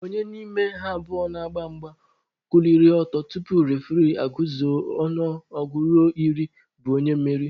Onye n'ime mmadụ abụọ na-agba mgba kuliri ọtọ tupu refuree aguzuo ọnụọgụ ruo iri bụ onye mmeri